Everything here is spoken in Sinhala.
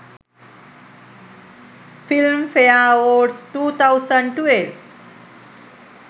film fare award 2012